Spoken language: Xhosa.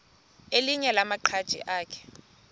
elinye lamaqhaji akhe